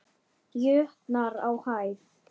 jötnar á hæð.